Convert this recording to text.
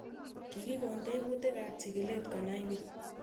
Kikikon tebutik ab chig'ilet konai pik